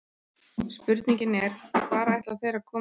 Spurningin er, hvar ætla þeir að koma þeim fyrir?